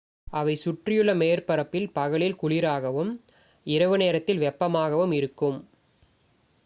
"""அவை சுற்றியுள்ள மேற்பரப்பில் பகலில் குளிராகவும் இரவு நேரத்தில் வெப்பமாகவும் இருக்கும்.